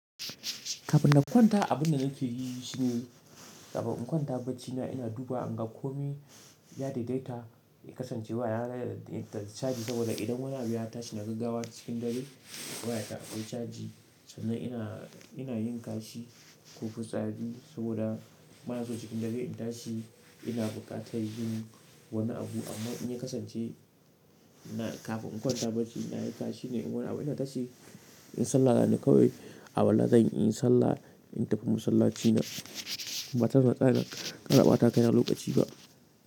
Kafin na kwanta abun da nake yi shi ne, kafin in kwanta baccina ina dubawa in ga komi ya daidaita, ya kasance wayana da caji saboda idan wani abu ya tashi na gaggawa cikin dare waya ta akwai caji. Sannan ina, ina yin kashi ko fitsari saboda bana so cikin dare in tashi ina buƙatar yin wani abu amma in ya kasance na kafin in kwanta bacci na yi kashi ne in wani abu ina tashi inyi sallah na ne kawai alwala zan yi inyi sallah in tafi masallaci na. Ba tare da natsaya ina ɓatawa kai na lokaci ba.